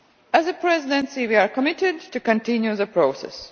As a Presidency, we are committed to continuing the process.